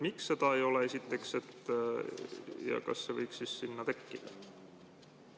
Miks seda ei ole, esiteks, ja kas see võiks siis sinna tekkida?